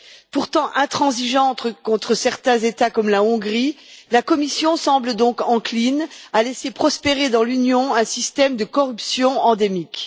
Pourtant intransigeante contre certains États comme la Hongrie, la Commission semble donc encline à laisser prospérer dans l'Union un système de corruption endémique.